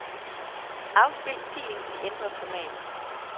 Afspil filen i ændret format.